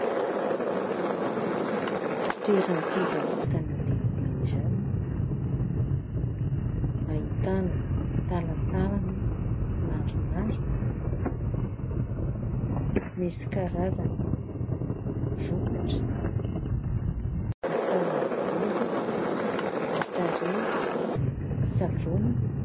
Toeram-pivarotana lehibe iray ahitana talantalana maromaro : misy karazana vokatra atao amin'ny volo, ny tarehy, savony.